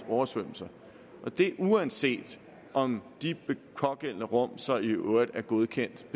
oversvømmelse og det uanset om de pågældende rum så i øvrigt er godkendt